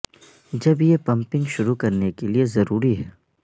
جب یہ پمپنگ شروع کرنے کے لئے ضروری ہے